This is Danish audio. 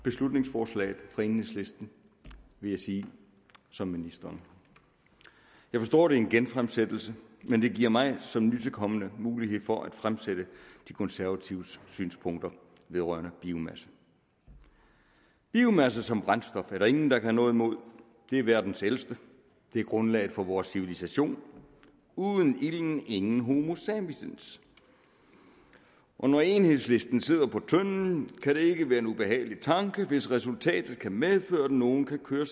beslutningsforslaget fra enhedslisten vil jeg sige som ministeren jeg forstår det er en genfremsættelse men det giver mig som nytilkommen mulighed for at fremføre de konservatives synspunkter vedrørende biomasse biomasse som brændstof er der ingen der kan have noget imod det er verdens ældste det er grundlaget for vores civilisation uden ilden ingen homo sapiens og når enhedslistens medlemmer sidder på tønden kan det ikke være en ubehagelig tanke hvis resultatet kan medføre at nogle kan køre